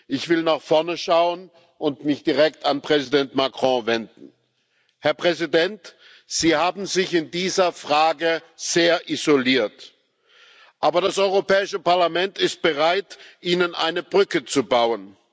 Ich will nach vorne schauen und mich direkt an Präsident Macron wenden Herr Präsident, Sie haben sich in dieser Frage sehr isoliert, aber das Europäische Parlament ist bereit, Ihnen eine Brücke zu bauen.